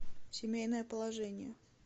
семейное положение